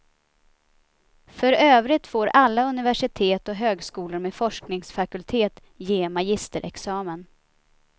För övrigt får alla universitet och högskolor med forskningsfakultet ge magisterexamen.